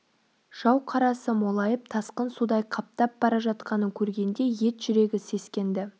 жау қарасы молайып тасқын судай қаптап бара жатқанын көргенде ет жүрегі сескенді